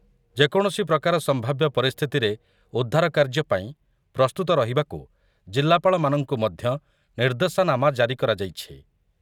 ଯେକୌଣସି ପ୍ରକାର ସମ୍ଭାବ୍ୟ ପରିସ୍ଥିତିରେ ଉଦ୍ଧାରକାର୍ଯ୍ୟ ପାଇଁ ପ୍ରସ୍ତୁତ ରହିବାକୁ ଜିଲ୍ଲାପାଳମାନଙ୍କୁ ମଧ୍ୟ ନିର୍ଦ୍ଦେଶାନାମା ଜାରି କରାଯାଇଛି ।